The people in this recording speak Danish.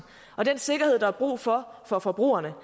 og den sikkerhed der er brug for for forbrugerne